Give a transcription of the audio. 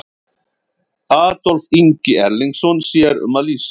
Adolf Ingi Erlingsson sér um að lýsa.